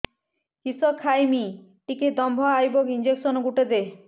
କିସ ଖାଇମି ଟିକେ ଦମ୍ଭ ଆଇବ ଇଞ୍ଜେକସନ ଗୁଟେ ଦେ